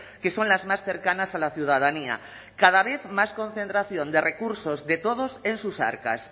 que son las más cercanas a la ciudadanía cada vez más concentración de recursos de todos en sus arcas